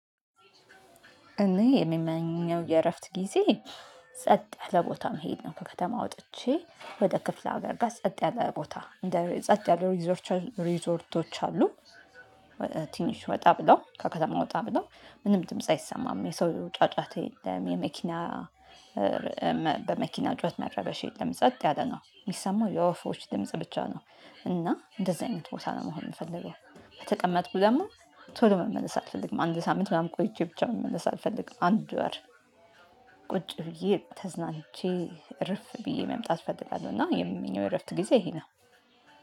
እኔ የምመኘው የእረፍት ጊዜ ጸጥ ያለ ቦታ መሄድ ነው። ከከተማ ወጥቼ ወደ ክፍለ ሀገር ጋር ጸጥ ያለ ቦታ ጸጥ ያለ ሪዞርቶች አሉ። ትንሽ ወጣ ብሎ ከከተማ ወጣ ብሎ ምንም ድምጽ አይሰማም የሰው ጫጫታ የለም የመኪና በመኪና ጩሄት መረበሽ የለም ጸጥ ያለ ነው የሚሰማው የወፎች ድምጽ ብቻ ነው። እና እንደዚህ አይነት ቦታ ነው መሆን የምፈልገው በተቀመጥኩ ደግሞ ቶሎ መመለስ አልፈልግም። አንድ ሳምንት ምናምን ቆይቼ ብቻ መመለስ አልፈልግም። አንድ ወር ቁጭ ብዬ ተዝናንቼ እርፍ ብዬ መምጣት እፈልጋለሁ። እና የሚመኘው እረፍት ጊዜ ይሄ ነው።